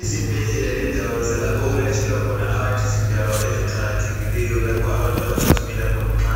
Izibhedlela lendawo zalapho okwelatshelwa khona abantu. Zindawo eziqakathekileyo lapho abantu abagijimela khona nxa